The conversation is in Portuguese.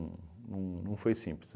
não não foi simples.